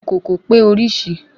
Ìkòkò pé orísìí